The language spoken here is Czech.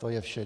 To je vše.